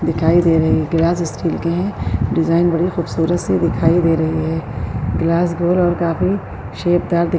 دکھائی دے رہے ہے۔ گلاس اسٹیل کے ہے۔ ڈیزائن بڑے خوبصورت سے دکھائی دے رہے ہے۔ گلاس گول اور کافی شیپدار دکھ --